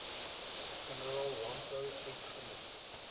generaal landbou uitgemaak